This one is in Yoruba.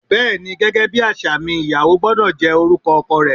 Bẹ́ẹ́ni gẹgẹ bi aṣa mi, íyàwò gbọdọ jẹ orukọ ọkọ rẹ